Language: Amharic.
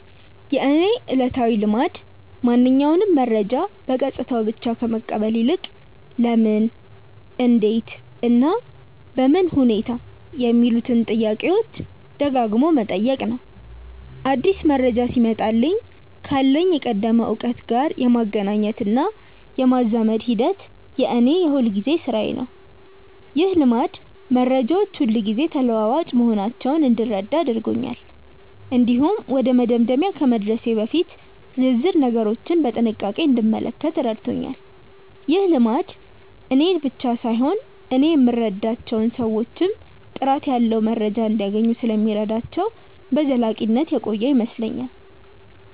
የእኔ ዕለታዊ ልማድ ማንኛውንም መረጃ በገጽታው ብቻ ከመቀበል ይልቅ "ለምን? እንዴት? እና በምን ሁኔታ" የሚሉትን ጥያቄዎች ደጋግሞ መጠየቅ ነው። አዲስ መረጃ ሲመጣልኝ ካለኝ የቀደመ እውቀት ጋር የማገናኘትና የማዛመድ ሂደት የእኔ የሁልጊዜ ሥራዬ ነው። ይህ ልማድ መረጃዎች ሁልጊዜ ተለዋዋጭ መሆናቸውን እንድረዳ አድርጎኛል። እንዲሁም ወደ መደምደሚያ ከመድረሴ በፊት ዝርዝር ነገሮችን በጥንቃቄ እንድመለከት ረድቶኛል። ይህ ልማድ እኔን ብቻ ሳይሆን እኔ የምረዳቸውን ሰዎችም ጥራት ያለው መረጃ እንዲያገኙ ስለሚረዳቸው በዘላቂነት የቆየ ይመስለኛል።